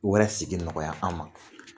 Wɛrɛ sigi nɔgɔya an ma.